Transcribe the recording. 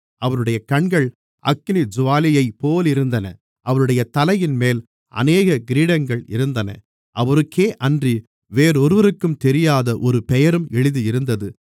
அவருடைய கண்கள் அக்கினிஜூவாலையைப்போலிருந்தன அவருடைய தலையின்மேல் அநேக கிரீடங்கள் இருந்தன அவருக்கேயன்றி வேறொருவருக்கும் தெரியாத ஒரு பெயரும் எழுதியிருந்தது